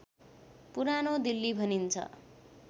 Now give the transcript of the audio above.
पुरानो दिल्ली भनिन्छ